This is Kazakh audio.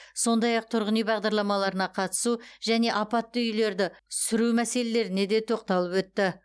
сондай ақ тұрғын үй бағдарламаларына қатысу және апатты үйлерді сүру мәселелеріне де тоқталып өтті